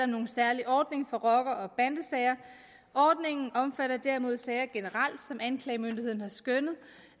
nogen særlig ordning for rocker og bandesager ordningen omfatter derimod sager generelt som anklagemyndigheden har skønnet